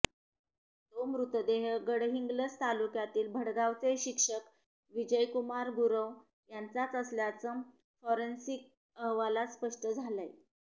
तो मृतदेह गडहिंग्लज तालुक्यातील भडगावचे शिक्षक विजयकुमार गुरव यांचाच असल्याचं फॉरेन्सिक अहवालात स्पष्ट झालंय